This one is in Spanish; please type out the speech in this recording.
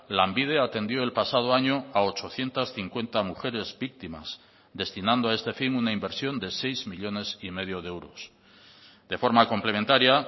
lanbide atendió el pasado año a ochocientos cincuenta mujeres víctimas destinando a este fin una inversión de seis millónes y medio de euros de forma complementaria